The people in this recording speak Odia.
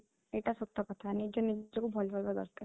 ଏଇଟା ସତ କଥା ନିଜେ ନିଜକୁ ଭଲ ପାଇବା ଦରକାର